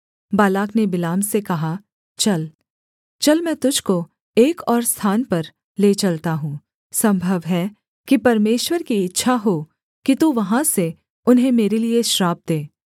Balak ने बिलाम से कहा चल चल मैं तुझको एक और स्थान पर ले चलता हूँ सम्भव है कि परमेश्वर की इच्छा हो कि तू वहाँ से उन्हें मेरे लिये श्राप दे